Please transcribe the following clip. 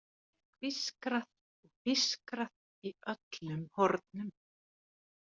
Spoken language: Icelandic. Það er hvískrað og pískrað í öllum hornum.